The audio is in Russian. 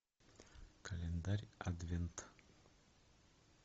календарь адвент